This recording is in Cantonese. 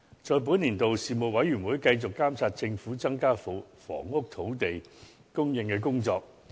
在本年度內，事務委員會繼續監察政府增加房屋土地供應的工作。